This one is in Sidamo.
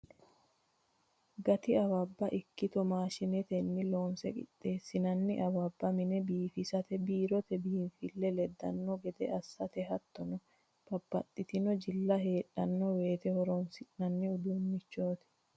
Gati awabba ikkitto maashinetenni loonse qixxeesinanni awabba mine biifisate biirote biinfile ledano gede assate hattono babbaxxitino jilla heedhano woyte horonsi'nanni uduunchoti.